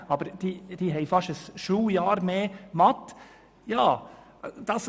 Dafür hat Schaffhausen auch fast ein Schuljahr mehr Mathematik.